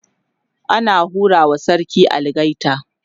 ana hura wa sarki algaita